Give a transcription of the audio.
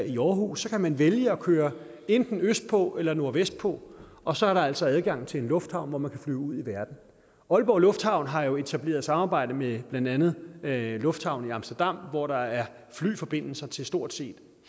i aarhus kan man vælge at køre enten østpå eller nordvestpå og så er der altså adgang til en lufthavn hvor man kan flyve ud i verden aalborg lufthavn har jo etableret et samarbejde med blandt andet lufthavnen i amsterdam hvor der er flyforbindelser til stort set